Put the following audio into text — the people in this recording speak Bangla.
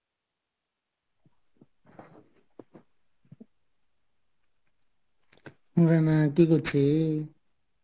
রানা কী করছ?